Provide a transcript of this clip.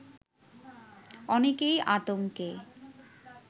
অনেকেই আতঙ্কে